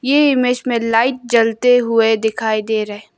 ये इमेज में लाइट जलते हुए दिखाई दे रहे--